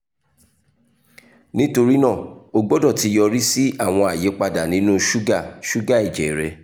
nitorina o gbọdọ ti yori si awọn ayipada ninu suga suga ẹjẹ rẹ